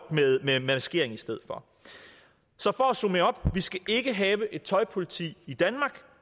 med maskering i stedet for så for at summere op vi skal ikke have et tøjpoliti i danmark